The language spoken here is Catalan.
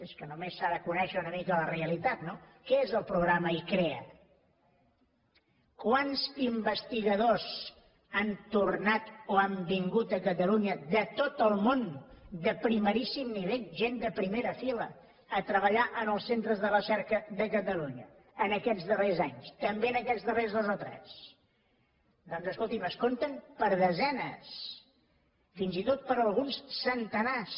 és que només s’ha de conèixer una mica la realitat no què és el programa icrea quants investigadors han tornat o han vingut a catalunya de tot el món de primeríssim nivell gent de primera fila a treballar en els centres de recerca de catalunya en aquests darrers anys també en aquests darrers dos o tres doncs escolti’m es compten per desenes fins i tot per alguns centenars